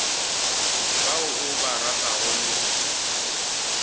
ba o ba ratago le